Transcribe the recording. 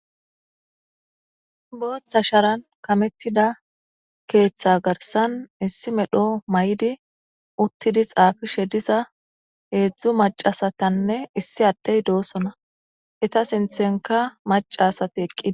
booththa sharan kamettida keeththa garsan issi medho may7di uttidi xaafishe diza heedzdzu macasatanne issi addey doosona eta sinthenka macasati eqqii